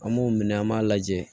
An b'o minɛ an b'a lajɛ